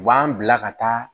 U b'an bila ka taa